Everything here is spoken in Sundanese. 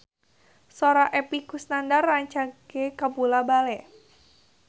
Sora Epy Kusnandar rancage kabula-bale